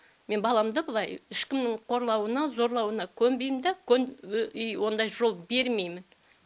мен баламды былай ешкімнің қорлауына зорлауына көнбеймін да ондай жол бермеймін